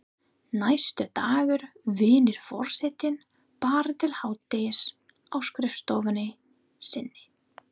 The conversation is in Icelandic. Næstu daga vinnur forsetinn bara til hádegis á skrifstofunni sinni.